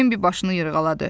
Bembi başını yırğaladı.